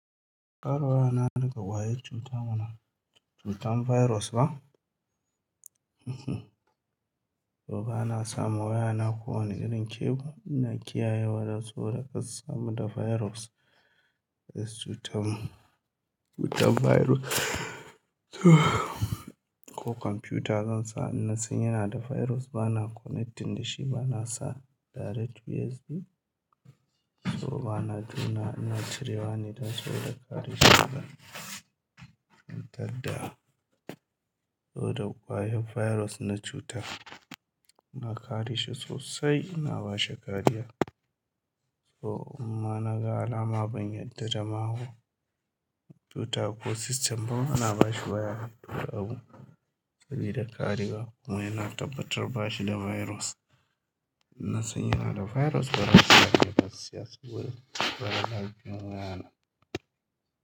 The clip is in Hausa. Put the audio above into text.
Kar wayana na ƙwayar cuta mana cutan virus ba. So ba na samu wayana ko wani irin cable ina kiyaye da saura kar su samun da virus. Is cutan, cutan virus. So ko kwamfiyutar zan sa ina sanye na da virus ba na connecting da shi ba na sa direct USB. So ba na jona ina cirewa ni na tsoro da kare shi daga cutar da So da kwayar virus na cuta, na kare shi sosai ina bashi kariya. So in ma naga alama ban yarda da mahau cuta ko system ba ana bashi waya. To abu sabida kariya kuma sai na tabbatar bashi da virus. In nasan yana da virus bazan sashi ba don lafiyan wayana.